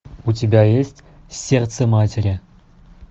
у тебя есть сердце матери